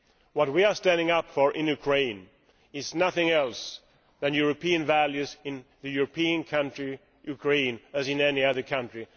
What we are standing up for in Ukraine is nothing other than European values in a European country Ukraine as in any other country.